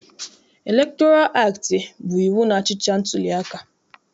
Elektoral aktị bụ iwu na-achịcha ntuliaka.